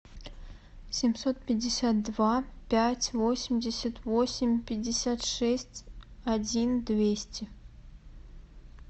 семьсот пятьдесят два пять восемьдесят восемь пятьдесят шесть один двести